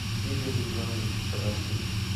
игоре ивановиче тарасове